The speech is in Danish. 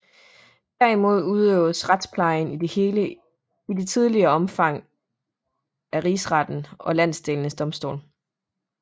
Derimod udøvedes retsplejen i det hele i det tidligere omfang af rigsretten og landenes domstole